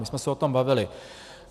My jsme se o tom bavili.